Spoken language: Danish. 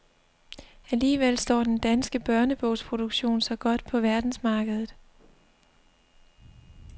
Alligevel står den danske børnebogsproduktion sig godt på verdensmarkedet.